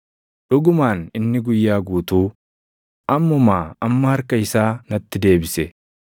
dhugumaan inni guyyaa guutuu, ammumaa amma harka isaa natti deebise.